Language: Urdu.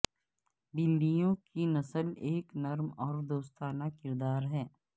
بلیوں کی نسل ایک نرم اور دوستانہ کردار ہے